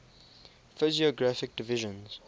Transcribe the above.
physiographic divisions